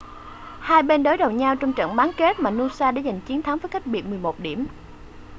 hai bên đối đầu nhau trong trận bán kết mà noosa đã giành chiến thắng với cách biệt 11 điểm